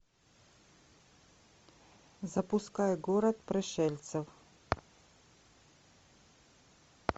запускай город пришельцев